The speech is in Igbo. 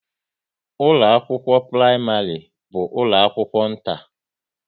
ụlọ akwụkwọ praịmarị bu ụlọ akwụkwọ nta